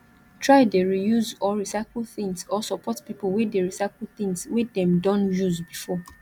try de reuse or recycle things or support pipo wey de recyle things wey dem don use before